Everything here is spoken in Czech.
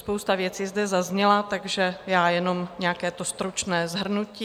Spousta věcí zde zazněla, takže já jenom nějaké to stručné shrnutí.